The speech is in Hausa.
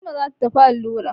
Fatima za ta tafi allura.